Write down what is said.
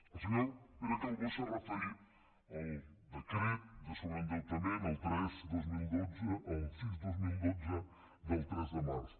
el senyor pere calbó s’ha referit al decret de sobreendeutament el sis dos mil dotze del tres de març